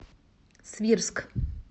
свирск